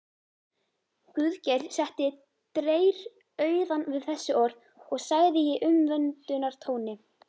Guðgeir setti dreyrrauðan við þessi orð og sagði í umvöndunartóni